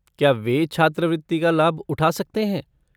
क्या वे छात्रवृत्ति का लाभ उठा सकते हैं?